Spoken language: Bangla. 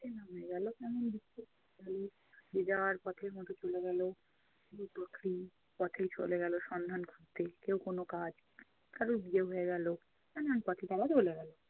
অচেনা হয়ে গেলো। কেমন বিচ্ছিন্ন হয়ে গেলো যে যার পথের মতো চলে গেলো। পথেই চলে গেলো সন্ধান করতে। কেউ কোনো কাজ, কারোর বিয়ে হয়ে গেলো। নানান পথে তারা চলে গেলো।